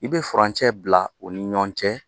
I bɛ furancɛ bila u ni ɲɔgɔn cɛ